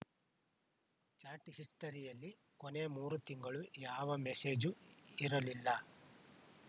chat ಹಿಸ್ಟರಿಯಲ್ಲಿ ಕೊನೆಯ ಮೂರು ತಿಂಗಳು ಯಾವ ಮೆಸೇಜು ಇರಲಿಲ್ಲ